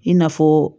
I n'a fɔ